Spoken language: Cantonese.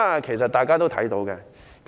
其實，大家也可以看到的。